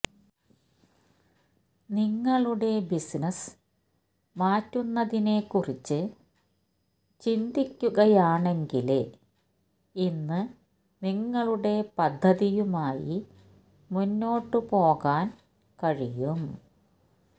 നിങ്ങളുടെ ബിസിനസ്സ് മാറ്റുന്നതിനെക്കുറിച്ച് ചിന്തിക്കുകയാണെങ്കില് ഇന്ന് നിങ്ങളുടെ പദ്ധതിയുമായി മുന്നോട്ട് പോകാന് കഴിയും